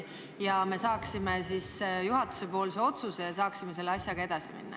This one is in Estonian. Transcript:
Seejärel teeksite meile juhatuse otsuse teatavaks ja me saaksime selle asjaga edasi minna.